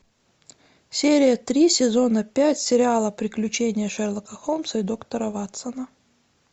серия три сезона пять сериала приключения шерлока холмса и доктора ватсона